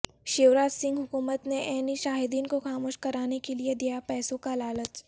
شیوراج سنگھ حکومت نے عینی شاہدین کو خاموش کرانے کے لئے دیا پیسوں کا لالچ